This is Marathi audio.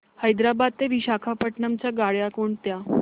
हैदराबाद ते विशाखापट्ण्णम च्या गाड्या कोणत्या